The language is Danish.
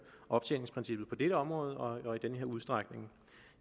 optjeningsprincippet på dette område og i denne udstrækning